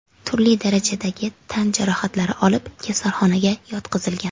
turli darajadagi tan jarohatlari olib kasalxonaga yotqizilgan.